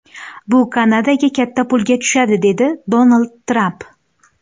Bu Kanadaga katta pulga tushadi”, dedi Donald Tramp.